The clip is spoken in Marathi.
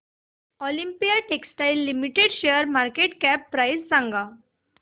ऑलिम्पिया टेक्सटाइल्स लिमिटेड शेअरची मार्केट कॅप प्राइस सांगा